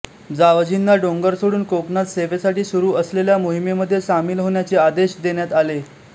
जावजींना डोंगर सोडून कोकणात सेवेसाठी सुरू असलेल्या मोहिमेमध्ये सामील होण्याचे आदेश देण्यात आले